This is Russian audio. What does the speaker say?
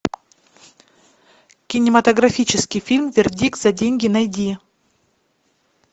кинематографический фильм вердикт за деньги найди